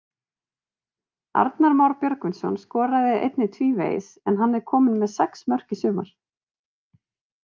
Arnar Már Björgvinsson skoraði einnig tvívegis en hann er kominn með sex mörk í sumar.